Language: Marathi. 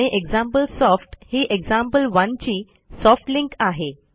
आणि एक्झाम्पलसॉफ्ट ही एक्झाम्पल1 ची सॉफ्ट लिंक आहे